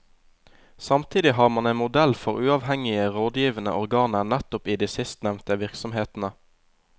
Samtidig har man en modell for uavhengige rådgivende organer nettopp i de sistnevnte virksomhetene.